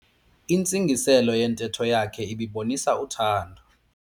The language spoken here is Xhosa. Intsingiselo yentetho yakhe ibibonisa uthando.